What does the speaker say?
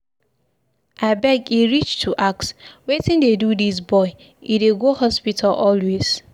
Abeg e reach to ask, wetin dey do dis boy? E dey go hospital always.